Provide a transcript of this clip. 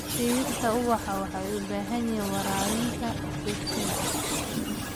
Dhirta ubaxa waxay u baahan yihiin waraabinta joogtada ah.